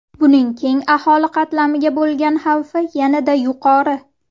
Buning keng aholi qatlamiga bo‘lgan xavfi yanada yuqori.